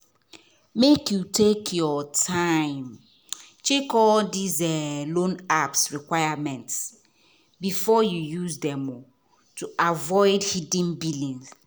make you take your time check all dis um loan apps requirements before you use dem to avoid hidden billing